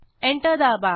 enter दाबा